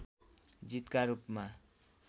जीतका रूपमा